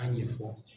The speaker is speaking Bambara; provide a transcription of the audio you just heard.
A ɲɛfɔ